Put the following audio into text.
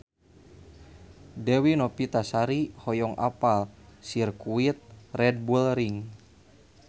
Dewi Novitasari hoyong apal Sirkuit Red Bull Ring